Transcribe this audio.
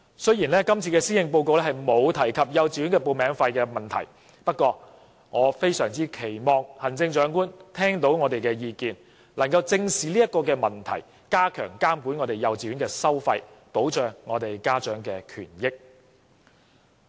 雖然今次施政報告沒有提供幼稚園報名費問題，不過我很希望行政長官聽到我們的意見，能夠正視這個問題，加強監管幼稚園收費，以保障家長的權益。